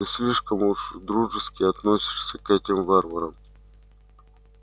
ты слишком уж дружески относишься к этим варварам